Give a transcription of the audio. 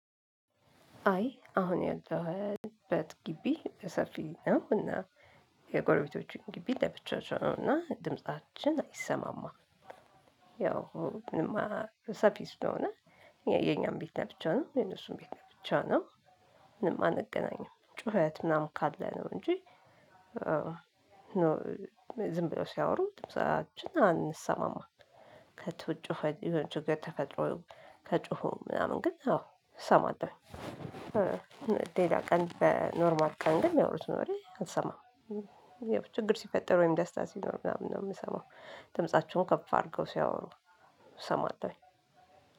አይ አሁን ያለሁበት ግቢ ሰፊ ነው እና የጎረቤቶቹን ግቢ ለብቻቸው ነው እና ድምፃችን አይሰማማም። ያው ምንም ሰፊ ስለሆነ የኛም ቤት ለብቻ ነው የነሱም ቤት ነው ብቻ ነው። ምንም አንገናኝም ጩኸት ምናምን ካለ ነው እንጂ ዝም ብለው ሲያወሩ ድምፃችን አንሰማማም። ከቤት ውጭ ችግር ተፈጥሮ ከጮሁ ምናምን ግን አዎ እሰማለሁ። ሌላ ቀን በኖርማል ቀን ግን የሚያወሩት ወሬ አልሰማም። ችግር ሲፈጠር ወይም ደስታ ሲሆን ምናምን ነው የምሰማው። ድምፃቸውን ከፍ አድርገው ሲያወሩ እሰማለሁኝ።